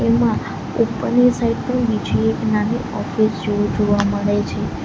એમા ઉપરની સાઈડ પણ બીજી એક નાની ઓફિસ જેવું જોવા મળે છે.